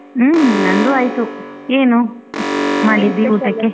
ಹ್ಮ್‌ ನಂದು ಆಯ್ತು ಏನು ಮಾಡಿದ್ದೆ ಊಟಕ್ಕೆ?